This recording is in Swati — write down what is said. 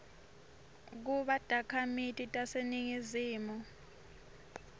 kuba takhamiti taseningizimu